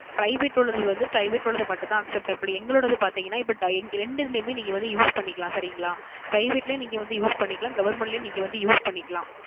Private உள்ளது வந்து Private உள்ளது மட்டும் தான் Acceptable எங்களோடது பார்த்திங்கன இப்போ டை இரண்டு இதிலும் நீங்க வந்து Use பண்ணிக்கலாம் சரிகளா Private ளையும் நீங்க வந்து Use பண்ணிக்கலாம் Government ளையும் நீங்க வந்து Use பண்ணிக்கலாம்